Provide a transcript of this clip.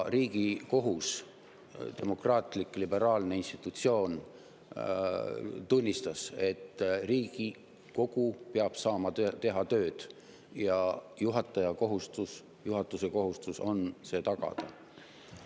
Riigikohus, demokraatlik ja liberaalne institutsioon, tunnistas, et Riigikogu peab saama teha tööd ning juhataja ja juhatuse kohustus on see tagada.